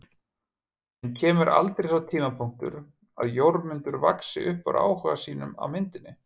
En kemur aldrei sá tímapunktur að Jórmundur vaxi upp úr áhuga sínum á myndinni?